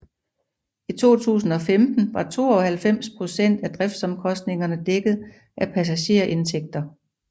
I 2015 var 92 procent af driftsomkostningerne dækket af passagerindtægter